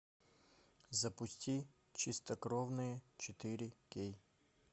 запусти чистокровные четыре кей